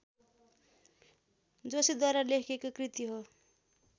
जोशीद्वारा लेखिएको कृति हो